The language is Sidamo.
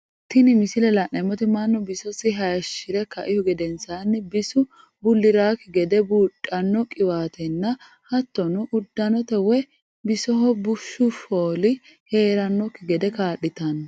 Tinni misile la'neemoti Manu bisisi hayishire kaihu gedensaanni bisu buliraaki gede buudhano qiwaatenna hattono udanote woyi bisoho bushu fooli heeranoki gede kaa'litano.